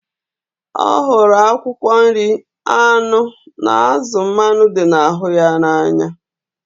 Ọ hụrụ akwụkwọ nri, anụ na azụ mmanụ dị na ahụ ya na anya